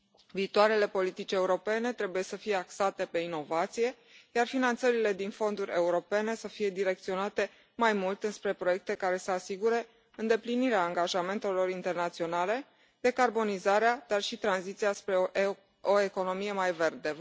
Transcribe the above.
Viitoarele politici europene trebuie să fie axate pe inovație, iar finanțările din fonduri europene să fie direcționate mai mult înspre proiecte care să asigure îndeplinirea angajamentelor internaționale, decarbonizarea, dar și tranziția spre o economie mai verde.